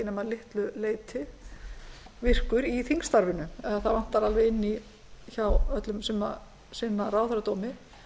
litlu leyti virkur í þingstarfinu eða það vantar alveg inn í hjá öllum sem sinna ráðherradómi